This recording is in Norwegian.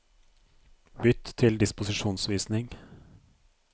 Bytt til disposisjonsvisning